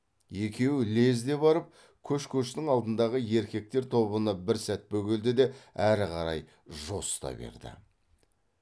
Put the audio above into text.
екеуі лезде барып көш көштің алдындағы еркектер тобына бір сәт бөгелді де әрі қарай жосыта берді